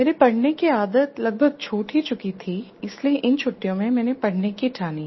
मेरी पढ़ने की आदत लगभग छूट ही चुकी थी इसलिए इन छुट्टियों में मैंने पढ़ने की ठानी